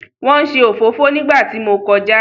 Wọ́n ń se òfófó nígbà tí mo kọjá.